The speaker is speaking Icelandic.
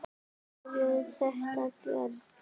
Eru þetta menn?